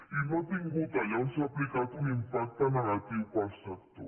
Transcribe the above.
i no ha tingut allà on s’ha aplicat un impacte negatiu per al sector